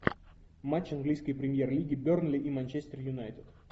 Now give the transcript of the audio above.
матч английской премьер лиги бернли и манчестер юнайтед